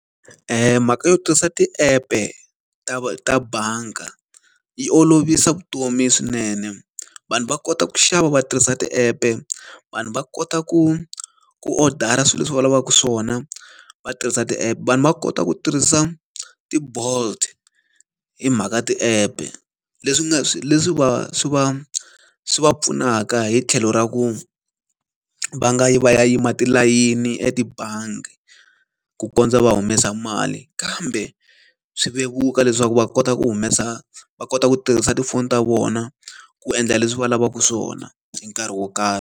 Mhaka yo tirhisa ti-app-e ta bangi yi olovisa vutomi swinene. Vanhu va kota ku xava va tirhisa ti-app-e, vanhu va kota ku ku odara swilo leswi va lavaka swona va tirhisa ti-app, vanhu va kota ku tirhisa ti-Bolt hi mhaka ti-app-e. Leswi nga swi leswi va swi va swi va pfunaka hi tlhelo ra ku va nga yi va ya yima tilayini etibangi ku kondza va humesa mali, kambe swi vevuka leswaku va kota ku humesa va kota ku tirhisa tifoni ta vona ku endla leswi va lavaka swona hi nkarhi wo karhi.